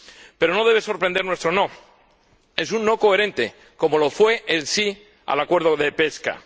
Pero no debe sorprender nuestro no, es un no coherente como lo fue el sí al acuerdo de pesca.